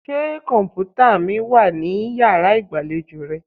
Ṣé kọ̀m̀pútà mi wà ní yàrá ìgbàlejò rẹ?